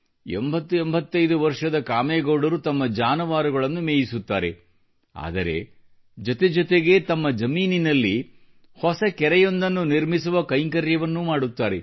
8085 ವರ್ಷದ ಕಾಮೇಗೌಡರು ತಮ್ಮ ಜಾನುವಾರುಗಳನ್ನು ಮೇಯಿಸುತ್ತಾರೆ ಆದರೆ ಜತೆಜತೆಗೇ ತಮ್ಮ ಜಮೀನಿನಲ್ಲಿ ಹೊಸ ಕೆರೆಯೊಂದನ್ನು ನಿರ್ಮಿಸುವ ಕೈಂಕರ್ಯವನ್ನೂ ಮಾಡುತ್ತಾರೆ